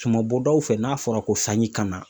Sumabɔdaw fɛ, n'a fɔra ko sanji kana